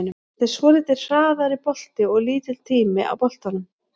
Þetta er svolítið hraðari bolti og lítill tími á boltanum.